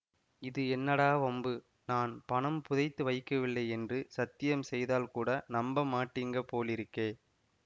இது என்னடா வம்பு நான் பணம் புதைத்து வைக்கவில்லை என்று சத்தியம் செய்தால் கூட நம்ப மாட்டீங்க போலிருக்கே